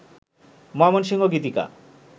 Mymensingh Gitika